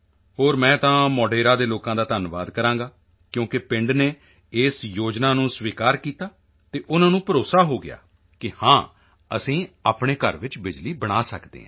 ਹੋਰ ਮੈਂ ਤਾਂ ਮੋਢੇਰਾ ਦੇ ਲੋਕਾਂ ਦਾ ਧੰਨਵਾਦ ਕਰਾਂਗਾ ਕਿਉਂਕਿ ਪਿੰਡ ਨੇ ਇਸ ਯੋਜਨਾ ਨੂੰ ਸਵੀਕਾਰ ਕੀਤਾ ਤੇ ਉਨ੍ਹਾਂ ਨੂੰ ਭਰੋਸਾ ਹੋ ਗਿਆ ਕਿ ਹਾਂ ਅਸੀਂ ਆਪਣੇ ਘਰ ਵਿੱਚ ਬਿਜਲੀ ਬਣਾ ਸਕਦੇ ਹਾਂ